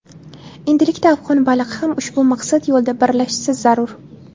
Endilikda afg‘on xalqi ham ushbu maqsad yo‘lida birlashishi zarur.